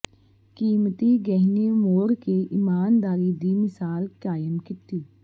ਕੀਮਤੀ ਗਹਿਣੇ ਮੋੜ ਕੇ ਇਮਾਨਦਾਰੀ ਦੀ ਮਿਸਾਲ ਕਾਇਮ ਕੀਤੀ